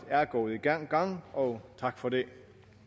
gået i gang gang og tak for det